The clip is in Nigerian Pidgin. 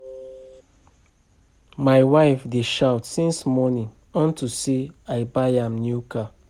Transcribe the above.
My wife dey shout since morning unto say I buy am new car